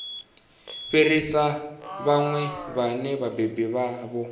fhirisa vhana vhane vhabebi vhavho